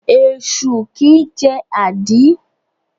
Esu kìí jẹ́ àdí.